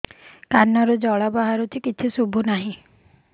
କାନରୁ ଜଳ ବାହାରୁଛି କିଛି ଶୁଭୁ ନାହିଁ